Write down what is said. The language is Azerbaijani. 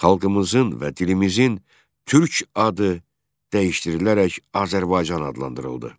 Xalqımızın və dilimizin Türk adı dəyişdirilərək Azərbaycan adlandırıldı.